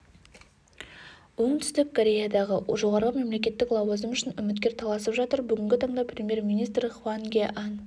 оңтүстік кореядағы жоғары мемлекеттік лауазым үшін үміткер таласып жатыр бүгінгі таңда премьер министр хван ге ан